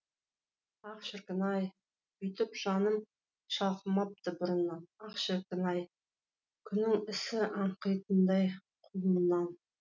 ах шіркін ай бүйтіп жаным шалқымапты бұрыннан ах шіркін ай күннің исі аңқитындай құлыннан